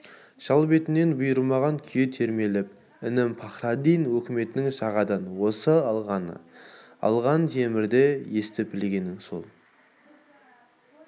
шал бетін бұрмаған күйі термелеп інім пахраддин өкіметтің жағадан осы алғаны алған темірде естіп-білгенің сол